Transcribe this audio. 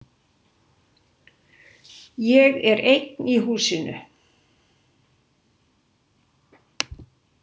Ég er einn í húsinu.